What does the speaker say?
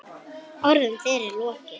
Orðum þeirra er lokið.